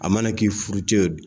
A mana k'i furu cɛ